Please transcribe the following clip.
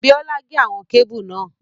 Bíọ́lá gé àwọn kébù náà